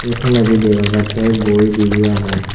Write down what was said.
toledi dega jatte boi dibe agon.